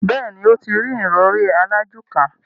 Bẹ́ẹ̀ni, ó ti rí ìrọrí alájùká.